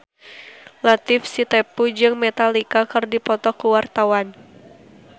Latief Sitepu jeung Metallica keur dipoto ku wartawan